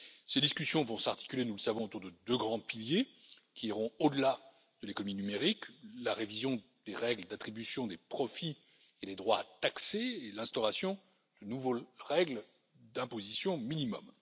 Ces discussions vont s'articuler, nous le savons, autour de deux grands piliers, qui iront au delà de l'économie numérique la révision des règles d'attribution des profits et des droits taxés et l'instauration de nouvelles règles d'imposition minimum.